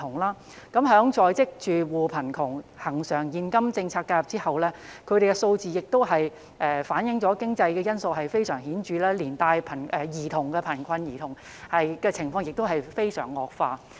關於在職住戶貧窮，在恆常現金政策介入後，有關數字反映經濟因素的影響非常顯著，連帶兒童貧困的情況亦有惡化。